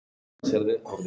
Það bara gerist.